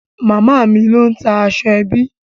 Màámi ló ń ta aṣọ ẹbí.